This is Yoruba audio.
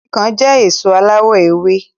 Ikán jẹ́ èso aláwọ èwe